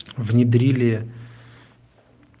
внедрили